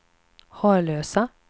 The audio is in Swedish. Harlösa